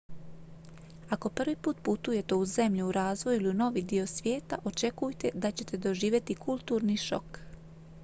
ako prvi put putujete u zenlju u razvoju ili u novi dio svijeta očekujte da ćete doživjeti kulturni šok